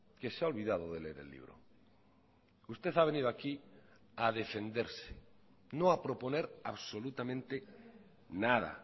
que se ha olvidado de leer el libro usted ha venido aquí a defenderse no ha proponer absolutamente nada